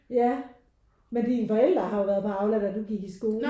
Ja men dine forældre har jo været på Aula da du gik i skole?